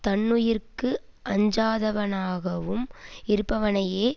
தன்னுயிருக்கு அஞ்சாதவனாகவும் இருப்பவனையே